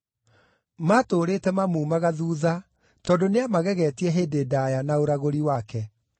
Maatũũrĩte mamuumaga thuutha tondũ nĩamagegetie hĩndĩ ndaaya na ũragũri wake.